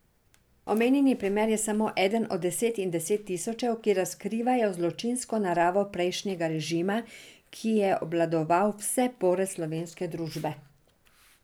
Omenjeni primer je samo eden od deset in deset tisočev, ki razkrivajo zločinsko naravo prejšnjega režima, ki je obvladoval vse pore slovenske družbe.